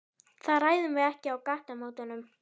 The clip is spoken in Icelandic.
Það ræðum við ekki á gatnamótum.